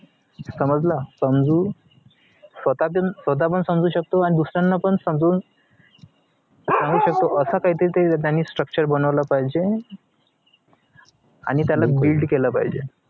समजल समजू स्वतबी स्वतःपण समजू शकतो आणि दुसऱ्यांना पण समजून सांगू शकतो असं काहीतरी ते त्यांनी structure बनवला पाहिजे आणि त्याला built केलं पाहिजे